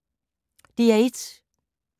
DR1